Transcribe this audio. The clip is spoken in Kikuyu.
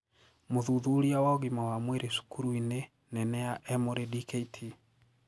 Mũthuthuria wa ugima wa mwiri cukurû ini nene ya Emory Dkt.